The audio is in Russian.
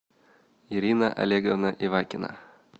ирина олеговна ивакина